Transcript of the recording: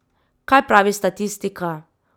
Kaj pravi statistika?